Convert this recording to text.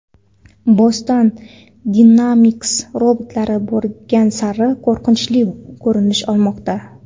Boston Dynamics robotlari borgan sari qo‘rqinchli ko‘rinish olmoqda!